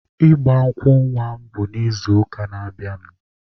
Ịgba nkwụ nwa mụ bụ n'izuụka na-abịanụ.